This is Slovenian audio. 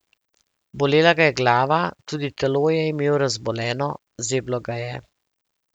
Bolela ga je glava, tudi telo je imel razboleno, zeblo ga je.